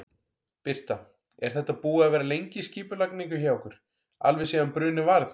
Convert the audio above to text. Birta: Er þetta búið að vera lengi í skipulagningu hjá ykkur, alveg síðan bruninn varð?